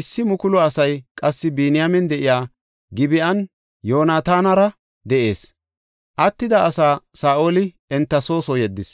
Issi mukulu asay qassi Biniyaamen de7iya Gib7an Yoonatanara de7ees; attida asaa Saa7oli enta soo soo yeddis.